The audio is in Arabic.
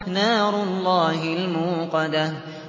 نَارُ اللَّهِ الْمُوقَدَةُ